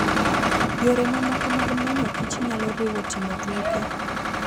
Yore mamoko mag manyo kich nyalo riwo timo tuke.